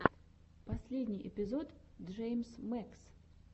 последний эпизод джеймс мэкс